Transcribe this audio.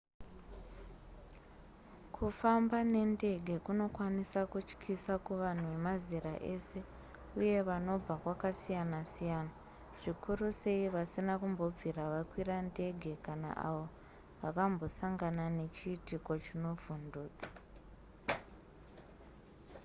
kufamba nendege kunokwanisa kutyisa kuvanhu vemazera ese uye vanobva kwakasiyana-siyana zvikuru sei vasina kumbobvira vakwira ndege kana avo vakambosangana nechiitiko chinovhundutsa